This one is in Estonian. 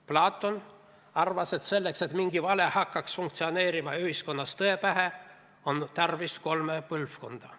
Platon arvas, et selleks, et mingi vale hakkaks funktsioneerima ühiskonnas tõe pähe, on tarvis kolme põlvkonda.